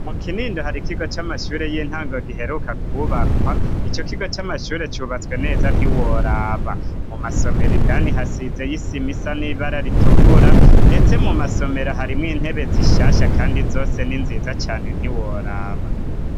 Mu Kinindo hari kigo c'amashure y'intango giheruka kubakwa ico kigo cy'amashure cubatswe neza ntiworaba mu masomero indani hasize y'isimisa n'ibara ritukura ndetse mu masomero harimo intebe zishasha kandi zose n'inziza cyane ntiworaba.